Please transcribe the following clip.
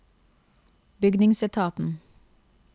bygningsetaten